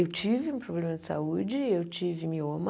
Eu tive um problema de saúde, eu tive mioma.